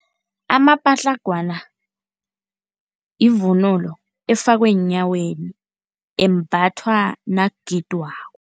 Amapatlagwana yivunulo efakwa eenyaweni, embathwa nakugidwako.